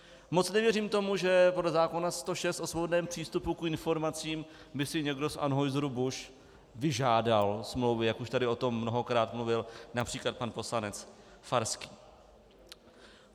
Moc nevěřím tomu, že podle zákona 106 o svobodném přístupu k informacím by si někdo z Anheuser-Busch vyžádal smlouvy, jak už tady o tom mnohokrát mluvil například pan poslanec Farský.